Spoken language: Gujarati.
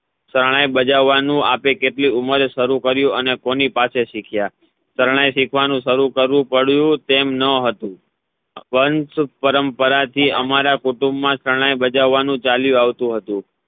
શરણાઈ ભજવવાનું આપે કેટલી ઉંમરે શરુ કર્યું અને કોની પાસે સીખ્યા શરણાઈ સિખવાનુ શરુ કરવુ પડયું તેમ ન હતુ પણ પરંપરા થી અમારા કુટુંબ મા શરણાઈ ભજવવાનું ચાલતુ આવતુ હતુ